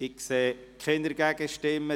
– Ich sehe keine Gegenstimmen.